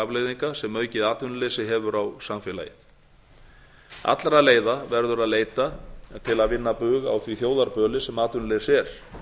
afleiðinga sem aukið atvinnuleysi hefur á samfélagið allra leiða verður að leita til að vinna bug á því þjóðarböli sem atvinnuleysi er